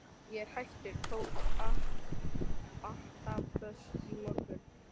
Ég er hættur, tók antabus í morgun.